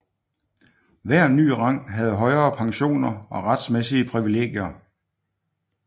Hver ny rang havde højere pensioner og retsmæssige privilegier